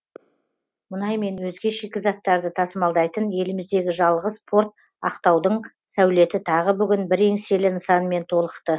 мұнай мен өзге шикізаттарды тасымалдайтын еліміздегі жалғыз порт ақтаудың сәулеті тағы бүгін бір еңселі нысанмен толықты